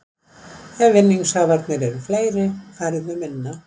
Ef vinningshafarnir eru fleiri færðu enn minna.